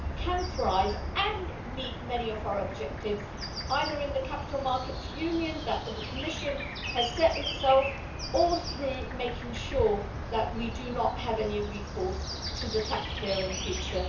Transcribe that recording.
can thrive and meet many of our objectives either in the Capital Markets Union that the Commission has set itself, or through making sure that we do not have any recourse to the taxpayer in future.